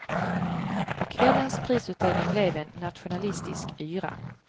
Och kvällens prisutdelning blev en nationalistisk yra.